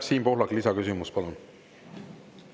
Siim Pohlak, lisaküsimus, palun!